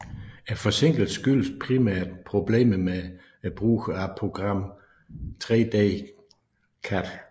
Forsinkelsen skyldtes primært problemerne ved brugen af programmet 3D CAD